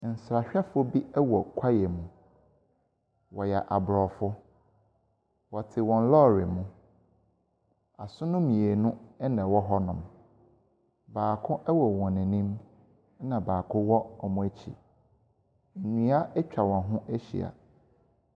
Nsrahwɛfoɔ bi wɔ kwaeɛ mu. Wɔyɛ aborɔfo. Wɔte wɔn lɔre mu. Asono mmienu na wɔwɔ hɔnom. Baako wɔ wɔn anim ɛnna baako wɔ wɔn akyi. Nnua atwa wɔn ho ahyi.